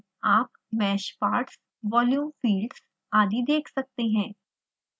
आप mesh parts volume fields आदि देख सकते हैं